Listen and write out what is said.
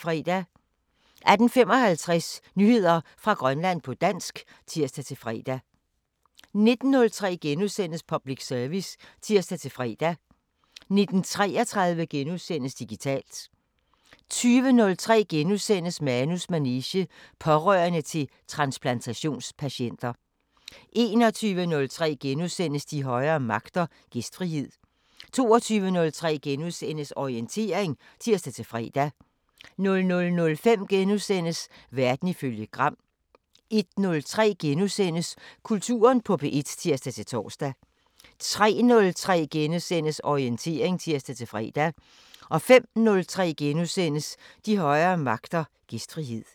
18:55: Nyheder fra Grønland på dansk (tir-fre) 19:03: Public Service *(tir-fre) 19:33: Digitalt * 20:03: Manus manege: Pårørende til transplantations-patienter * 21:03: De højere magter: Gæstfrihed * 22:03: Orientering *(tir-fre) 00:05: Verden ifølge Gram * 01:03: Kulturen på P1 *(tir-tor) 03:03: Orientering *(tir-fre) 05:03: De højere magter: Gæstfrihed *